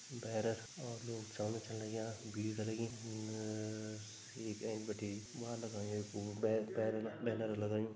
भेंर और लोग चलन छन लग्यां भीड़ लगीं अ येक ऐंच बिटि भ्वा लगायुं कु भेर बेरन-बैनर लगायुं।